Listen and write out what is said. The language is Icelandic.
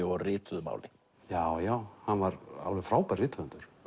og rituðu máli já já hann var alveg frábær rithöfundur